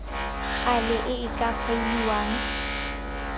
gale e e ka faeliwang